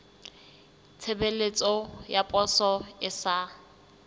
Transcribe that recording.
tshebeletso ya poso e sa